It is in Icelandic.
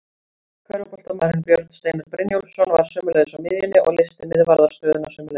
Körfuboltamaðurinn Björn Steinar Brynjólfsson var sömuleiðis á miðjunni og leysti miðvarðarstöðuna sömuleiðis.